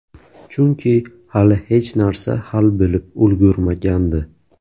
Chunki hali hech narsa hal bo‘lib ulgurmagandi.